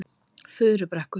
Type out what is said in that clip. Furubrekku